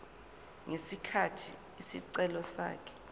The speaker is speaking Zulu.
ngesikhathi isicelo sakhe